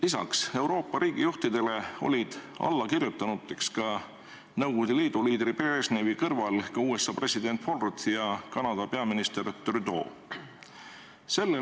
Peale Euroopa riigijuhtide ja Nõukogude Liidu liidri Brežnevi kirjutasid sellele alla ka USA president Ford ja Kanada peaminister Trudeau.